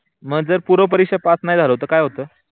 मग जर पूर्व परीक्षा पास नाही झालो तर काय होत?